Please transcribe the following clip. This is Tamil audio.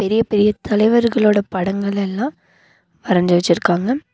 பெரிய பெரிய தலைவர்களோட படங்கள் எல்லா வரஞ்சு வச்சுருக்காங்க.